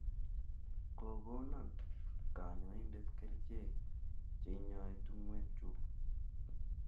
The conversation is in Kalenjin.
Kokonon kanyoindet kerichek che inyai tung'wek chuk